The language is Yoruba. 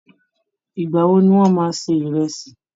Ìgbà wo ni wọ́n máa se ìrẹ̀sì?